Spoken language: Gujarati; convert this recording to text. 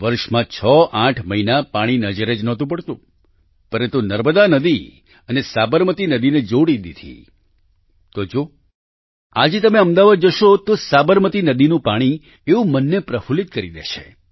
વર્ષમાં 68 મહિના પાણી નજરે જ નહોતું પડતું પરંતુ નર્મદા નદી અને સાબરમતી નદીને જોડી દીધી તો જો આજે તમે અમદાવાદ જશો તો સાબરમતી નદીનું પાણી એવું મનને પ્રફૂલ્લિત કરી દે છે